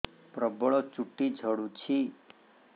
ପ୍ରବଳ ଚୁଟି ଝଡୁଛି